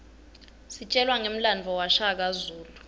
sitjelwa ngemlandvo washaka zulu